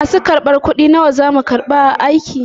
Masu kar ɓar kuɗi nawa zamu ɗauka aiki?